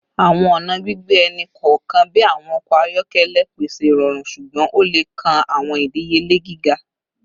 Awọn ọna gbigbe ẹni kọọkan bi awọn ọkọ ayọkẹlẹ pese irọrun ṣugbọn o le kan awọn idiyele giga